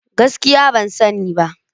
Gaskiya! Ban sani ba.